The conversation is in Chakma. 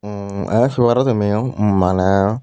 mmm e sei paro tumiyo maneh.